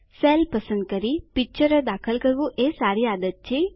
cell પસંદ કરી પિક્ચરો દાખલ કરવું એ સારી આદત છે